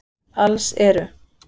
Alls eru